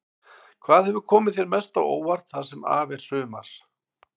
Hvað hefur komið þér mest á óvart það sem af er sumars?